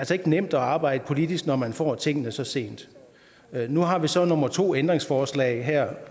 nemt at arbejde politisk når man får tingene så sent nu har vi så nummer to ændringsforslag her